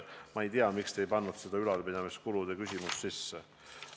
Ma ei tea, miks te ei pannud seda ülalpidamiskulude küsimust sinna sisse.